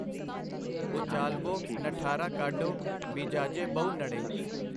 ਓਚਾਲਵੋਂ ਨਠਾਰਾ ਕਾਢੋਂ, ਬੀਜਾਜੇ ਬਹੁ ਨੜੇ।